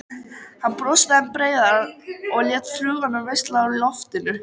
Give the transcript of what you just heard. Hann brosti enn breiðar og lét fluguna valsa um loftin.